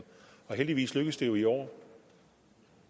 heldigvis lykkedes det jo i år